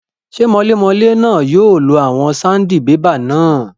Ṣé mọlémọlé náà yóò lo àwọn sandibébà náà?